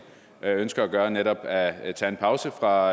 ønsker at gøre altså netop at tage en pause fra